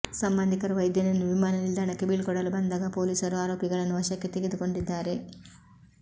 ಸಂಬಂಧಿಕರು ವೈದ್ಯನನ್ನು ವಿಮಾನ ನಿಲ್ದಾಣಕ್ಕೆ ಬೀಳ್ಕೊಡಲು ಬಂದಾಗ ಪೊಲೀಸರು ಆರೋಪಿಗಳನ್ನು ವಶಕ್ಕೆ ತೆಗೆದುಕೊಂಡಿದ್ದಾರೆ